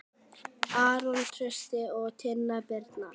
Hanna María.